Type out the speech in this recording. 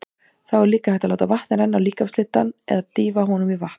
Þá er hægt að láta vatn renna á líkamshlutann eða dýfa honum ofan í vatn.